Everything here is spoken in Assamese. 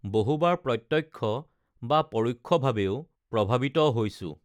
বহুবাৰ প্ৰত্যক্ষ বা পৰোক্ষভাৱেও প্ৰভাৱিত হৈছো